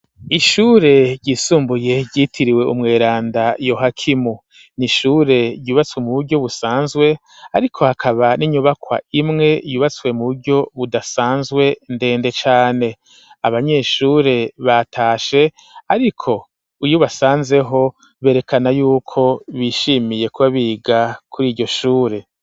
Ishure ryisumbuye ryitiriwe umweranda yohakimu n'ishure ryubatswe mu buryo busanzwe ariko hakaba n'inyubakwa imwe yubatswe mu buryo budasanzwe ndende cane, abanyeshure batashe ariko uyo basanzeho berekana yuko bishimiye kuba biga kuri iryo shure.